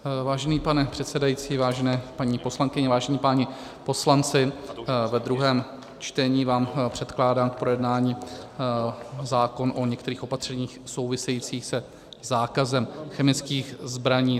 Vážený pane předsedající, vážené paní poslankyně, vážení páni poslanci, v druhém čtení vám předkládám k projednání zákon o některých opatřeních souvisejících se zákazem chemických zbraní.